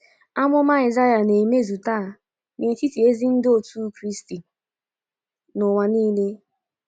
Amụma Aịsaịa na-emezu taa n’etiti ezi ndị otu Kraịst n’ụwa nile.